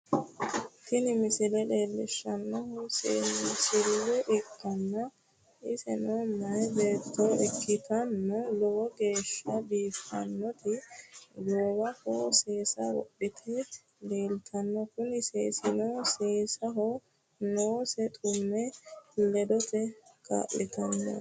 Tini misile leellishshannohu seensille ikkanna, iseno meyaa beetto ikkitanna, lowo geeshsha biiffannoti goowaho seesa wodhitinoti leeltannoe, kuni seesino seenneho noonsa xumme ledate kaa'lannoho.